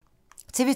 TV 2